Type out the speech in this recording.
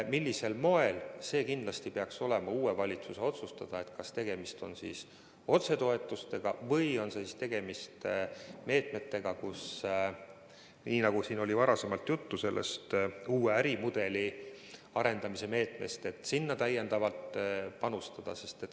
Millisel moel seda teha, peaks kindlasti olema uue valitsuse otsustada – kas tegemist on otsetoetustega või on tegemist selliste meetmetega, nagu siin enne jutuks tulnud uue ärimudeli arendamise meede, millesse võiks rohkem panustada.